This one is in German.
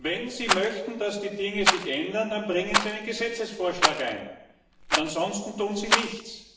Wenn Sie möchten, dass die Dinge sich ändern, dann bringen Sie einen Gesetzesvorschlag ein, und ansonsten tun Sie nichts!